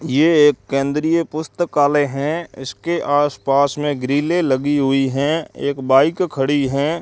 ये एक केंद्रीय पुस्तकालय हैं इसके आस पास में ग्रीले लगी हुई हैं एक बाइक खड़ी है।